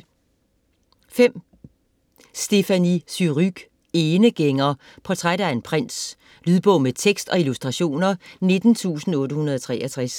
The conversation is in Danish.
Surrugue, Stéphanie: Enegænger: portræt af en prins Lydbog med tekst og illustrationer 19863